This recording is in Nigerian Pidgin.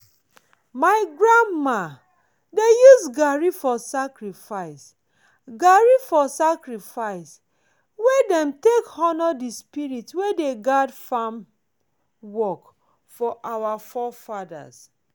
my grandma dey use garri for sacrifice garri for sacrifice wey dem take honor the spirit wey guard farm work for our forefathers.